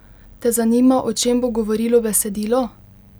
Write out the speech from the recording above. Te zanima, o čem bo govorilo besedilo?